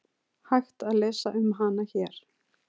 Hægt að lesa um hana hér.